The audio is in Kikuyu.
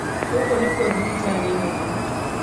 Gũkũ nĩkuo thibitarĩnene.